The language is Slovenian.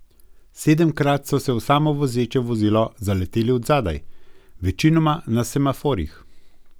Sedemkrat so se v samovozeče vozilo zaleteli od zadaj, večinoma na semaforjih.